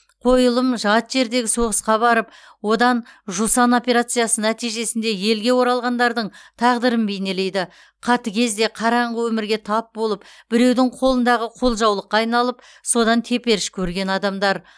қойылым жат жердегі соғысқа барып одан жусан операциясы нәтижесінде елге оралғандардың тағдырын бейнелейді қатыгез де қараңғы өмірге тап болып біреудің қолындағы қолжаулыққа айналып содан теперіш көрген адамдар